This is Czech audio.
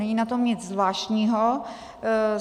Není na tom nic zvláštního.